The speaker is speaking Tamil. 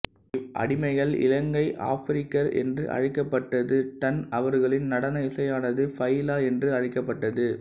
இவ் அடிமைகள் இலங்கை ஆப்பிரிக்கர் என்று அழைக்கப்பட்டதுடன் அவர்களின் நடன இசையானது பைலா என்று அழைக்கப்பட்டது